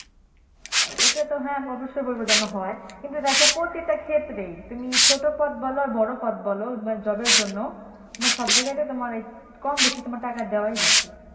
ঐটাতো হ্যাঁ আমি অব্যশই বলবো কিন্তু দেখো প্রতিটা ক্ষেত্রেই তুমি ছোট পদ বলো আর বড় পদ বলো job এর জন্য সব জায়গাতেই কম বেশি টাকা